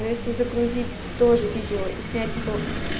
но если загрузить тоже видео и снять его